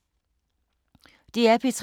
DR P3